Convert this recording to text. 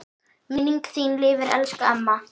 Minning þín lifir elsku amma.